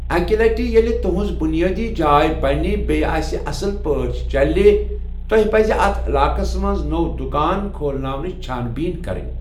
اَکہِ لَٹہِ ییٛلہِ تُہُنٛز بُنیٲدی جاے بَنہِ بیٛیہِ آسہِ اصٕل پٲٮ۪ٹھ چَلہِ ، توہہِ پَزِ اَتھ علاقَس مَنٛز نو دُکان کھولاونٕچہِ چھان بیٖن کَرٕنۍ ۔